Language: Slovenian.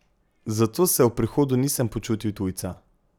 Zato se ob prihodu nisem počutil tujca.